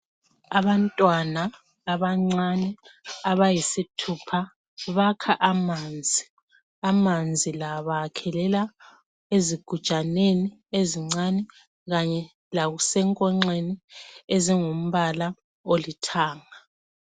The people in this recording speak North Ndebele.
Abantwana abancane abayisithupha bakha amanzi. Amanzi la bawakhelela ezigujaneni ezincane kanye lasenkongxeni ezingumbala olithanga.